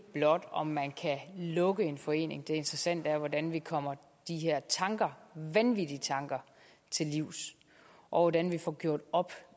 blot om man kan lukke en forening det interessante er hvordan vi kommer de her tanker vanvittige tanker til livs og hvordan vi får gjort op